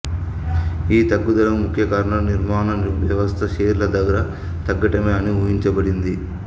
ఈ తగ్గుదలకు ముఖ్య కారణం నిర్మాణ వ్యవస్థ షేర్ల ధర తగ్గటమే అని ఊహించబడింది